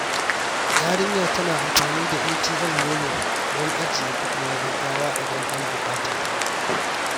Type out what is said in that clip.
Yarinyar tana amfani da MTN MoMo don ajiye kudi na gaggawa idan an bukata.